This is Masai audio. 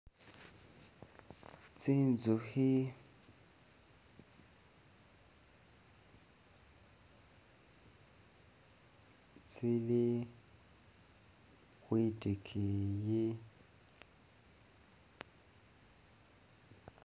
Tsinzukhi, tsili khwitikiiyi.